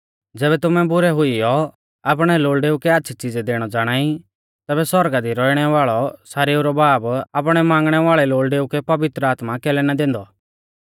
ज़ैबै तुमै बुरै हुईयौ आपणै लोल़डेऊ कै आच़्छ़ी च़ीज़ै दैणौ ज़ाणाई तैबै सौरगा दी रौइणै वाल़ौ सारेऊ रौ बाब आपणै मांगणै वाल़ै लोल़डेऊ कै पवित्र आत्मा कैलै ना दैंदौ